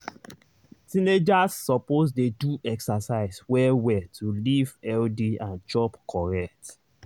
teenagers suppose dey do exercise well well to live healthy and chop correct.